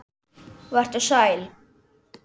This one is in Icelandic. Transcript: Vertu sæl!